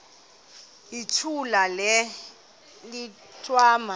yithula le mithwalo